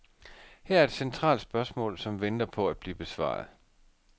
Her er et centralt spørgsmål, som venter på at blive besvaret.